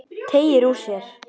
Teygir úr sér.